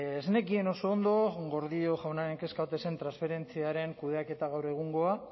ez nekien oso ondo gordillo jaunaren kezka ote zen transferentziaren kudeaketa gaur egungoa